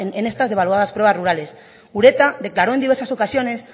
en estas devaluadas pruebas rurales ureta declaró en diversas ocasiones